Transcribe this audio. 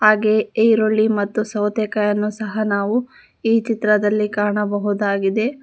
ಹಾಗೆಯೇ ಈರುಳ್ಳಿ ಮತ್ತು ಸೌತೆಕಾಯಿಯನ್ನು ಸಹ ನಾವು ಈ ಚಿತ್ರದಲ್ಲಿ ಕಾಣಬಹುದಾಗಿದೆ.